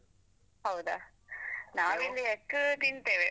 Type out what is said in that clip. ಹೌದಾ ನಾವಿಲ್ಲಿ egg ತಿಂತೇವೆ.